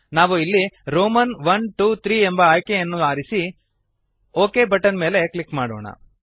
ನಾವು ಇಲ್ಲಿ ರೋಮನ್ iiiಐಐ ಎಂಬ ಆಯ್ಕೆಯನ್ನು ಆರಿಸಿ ಒಕ್ ಬಟನ್ ಮೇಲೆ ಕ್ಲಿಕ್ ಮಾಡೋಣ